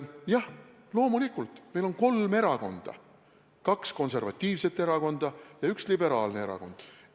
Jah, loomulikult, meil on kolm erakonda: kaks konservatiivset erakonda ja üks liberaalne erakond.